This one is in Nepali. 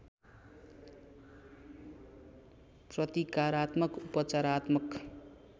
प्रतिकारात्मक उपचारात्मक